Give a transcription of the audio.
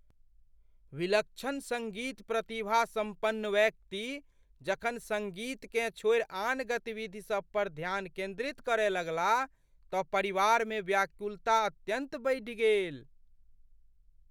विलक्षण सङ्गीत प्रतिभा सम्पन्न व्यक्ति जखन सङ्गीतकेँ छोड़ि आन गतिविधि सब पर ध्यान केन्द्रित करय लगलाह तँ परिवारमे व्याकुलता अत्यन्त बढ़ि गेल।